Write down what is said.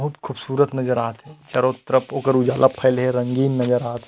बहुत खूबसूरत नज़र आवत हे चारो तरफ उखर उजाला फैले हे रंगीन नज़र आवत हे।